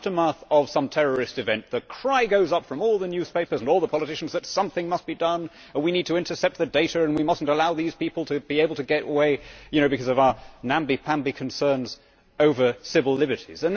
In the aftermath of some terrorist event the cry goes up from all the newspapers and all the politicians that something must be done we need to intercept the data and we must not allow these people to get away on account of our namby pamby concerns over civil liberties.